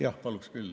Jah, paluksin küll.